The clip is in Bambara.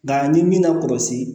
Nka ni min ma kɔlɔsi